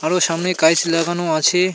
আরও সামনে গাইস লাগানো আছে.